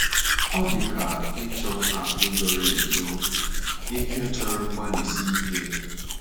Ọ dị ka ịchọ akụ̀ zoro ezo — ihe chọrọ mgbalịsi ike.